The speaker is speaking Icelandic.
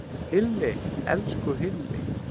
Hilli, elsku Hilli!